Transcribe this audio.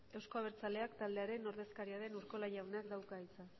euzko abertzaleak taldearen ordezkaria den urkola jaunak dauka hitza